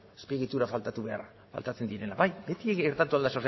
azpiegitura faltatzen direnak beti gertatu al da zeozer